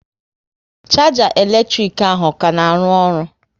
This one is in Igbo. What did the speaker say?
Sharger elektrik ahụ, ọ ka na arụ ọrụ?